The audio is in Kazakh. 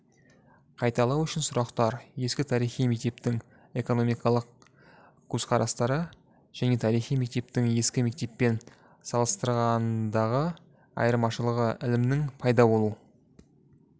қайталау үшін сұрақтар ескі тарихи мектептің экономикалық көзқарастары жаңа тарихи мектептің ескі мектеппен салыстырғандағы айырмашылығы ілімінің пайда болу